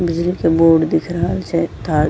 बिजली के बोड दिख रहल छै तार --